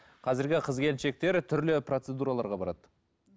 қазіргі қыз келіншектер түрлі процедураларға барады